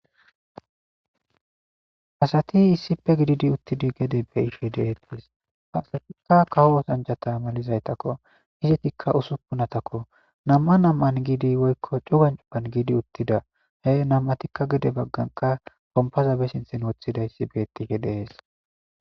Asati issipe gididi uttidi gede beyishe deettis asatikka kawo sanjata malizaytakko izetikka usuppunatakko namma namman giidi woykko cugan cupan giidi uttida he nammatikka gede bagganka pompaza be sinthen wothida issi beettikke deees.